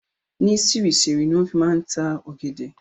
Ni sirisiri ni wọn fi máa ń ta ọ̀gẹ̀dẹ̀